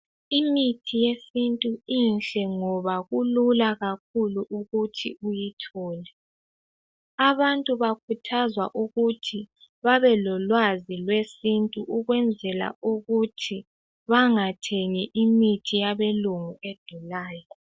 Imithi yesintu mihle ngoba kulula ukuthi uyithole. Abantu bakhuthazwa ukuthi babe lolwazi lwesintu ukwenzela ukuthi bangathengi imithi yabelungu edulayo.